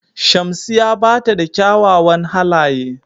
Shamsiya bata da ƙyawawan halaƴe.